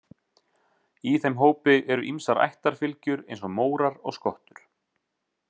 Í þeim hópi eru ýmsar ættarfylgjur eins og mórar og skottur.